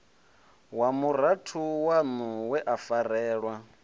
wa murathu waṋuwe a farelwa